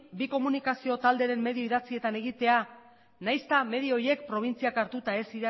bi komunikazio talderen medio idatzietan egitea nahiz eta medio horiek probintziak hartuta ez